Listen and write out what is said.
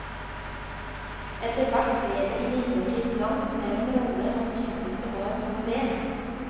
Etterhvert ble det imidlertid langt mellom roller han syntes det var noe ved.